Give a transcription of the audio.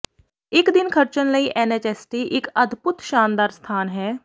ਇੱਕ ਦਿਨ ਖਰਚਣ ਲਈ ਐਨਐਚਐਸਟੀ ਇੱਕ ਅਦਭੁੱਤ ਸ਼ਾਨਦਾਰ ਸਥਾਨ ਹੈ